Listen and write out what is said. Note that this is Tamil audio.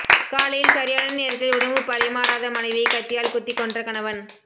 காலையில் சரியான நேரத்தில் உணவு பரிமாறாத மனைவியை கத்தியால் குத்திக் கொன்ற கணவன்